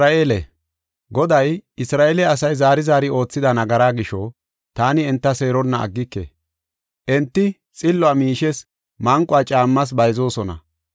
Goday, “Isra7eele asay zaari zaari oothida nagaraa gisho, taani enta seeronna aggike. Enti xilluwa miishes, manquwa caammas bayzoosona.